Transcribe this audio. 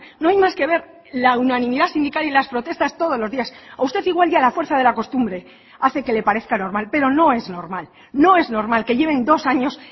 no hay más que ver la unanimidad sindical y las protestas todos los días a usted igual ya la fuerza de la costumbre hace que le parezca normal pero no es normal no es normal que lleven dos años